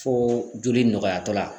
Fo joli nɔgɔya tɔ la